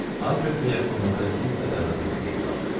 Albert və yaxınlardan kimsə dəvət olunmuşdular.